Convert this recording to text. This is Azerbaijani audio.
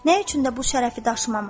Nə üçün də bu şərəfi daşımamaq?